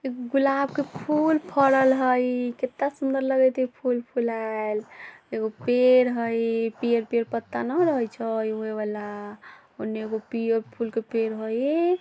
गुलाब के फूल फड़ल हय किता सुंदर लगत हय फूल फूलाल एगो पेड़ हय पेड़ पे पत्ता न रहे छै ओय वला उने एगो पे फूल के पेड़ हय।